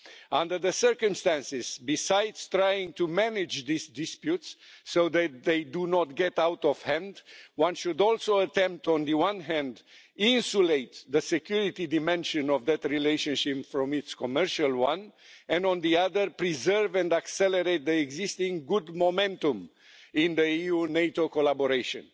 Under the circumstances, besides trying to manage these disputes so that they do not get out of hand, one should also attempt on the one hand to insulate the security dimension of that relationship from its commercial one, and on the other, preserve and accelerate the existing good momentum in the EU NATO collaboration.